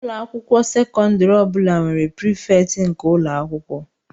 Ụlọ akwụkwọ sekọndrị ọ bụla nwere prefect nke ụlọ akwụkwọ